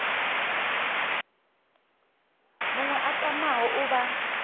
muṅwe a tamaho u vha